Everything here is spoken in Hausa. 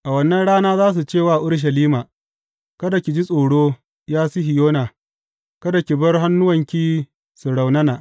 A wannan rana za su cewa Urushalima, Kada ki ji tsoro, ya Sihiyona; kada ki bar hannuwanki su raunana.